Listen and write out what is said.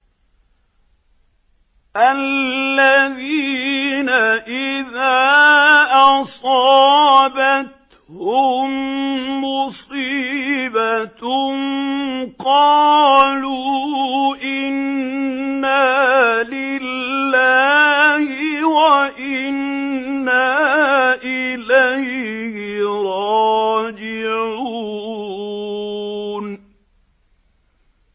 الَّذِينَ إِذَا أَصَابَتْهُم مُّصِيبَةٌ قَالُوا إِنَّا لِلَّهِ وَإِنَّا إِلَيْهِ رَاجِعُونَ